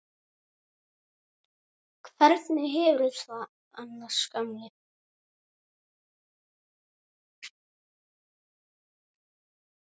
Hvernig hefurðu það annars, gamli?